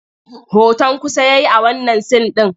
Hoton kusa ya yi a wannan sin ɗin.